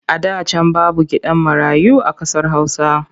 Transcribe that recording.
A da can babu gidan marayu a ƙasar Hausa.